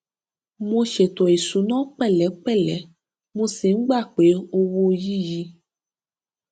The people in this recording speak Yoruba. mo ṣètò ìṣúná pẹlẹpẹlẹ mo sì ń gba pé owó yí yí